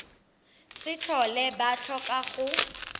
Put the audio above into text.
se tlhole ba tlhoka go